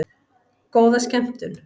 Góða skemmtun!